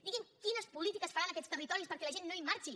digui’m quines polítiques faran en aquests territoris perquè la gent no en marxi